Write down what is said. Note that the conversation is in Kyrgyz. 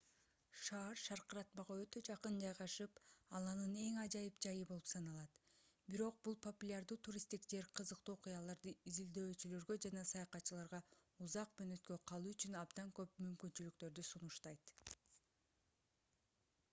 шаар шаркыратмага өтө жакын жайгашып ал анын эң ажайып жайы болуп саналат бирок бул популярдуу туристтик жер кызыктуу окуяларды издөөчүлөргө жана саякатчыларга узак мөөнөткө калуу үчүн абдан көп мүмкүнчүлүктөрдү сунуштайт